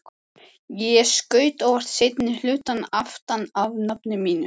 Ég skaut óvart seinni hlutann aftan af nafninu mínu.